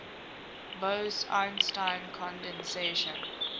bose einstein condensation